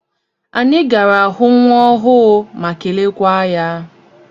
Anyị gara hụ nwa ọhụụ ma kelekwaa ya.